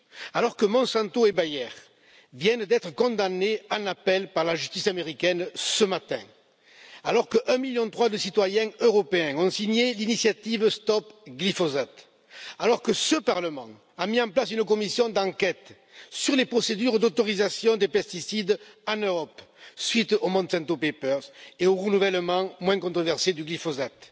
Alors que Monsanto et Bayer viennent d'être condamnés en appel par la justice américaine ce matin, alors que 1,3 million de citoyens européens ont signé l'initiative Stop glyphosate, alors que ce Parlement a mis en place une commission d'enquête sur les procédures d'autorisation des pesticides en Europe suite aux Monsanto Papers et au renouvellement pour le moins controversé du glyphosate,